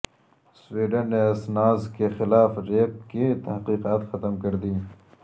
Sweden نے Assange کے خلاف ریپ کی تحقیقات ختم کر دیں